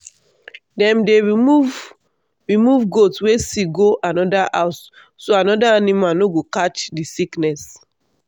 dem dey remove remove goat wey sick go another house so other animal no go catch the sickness.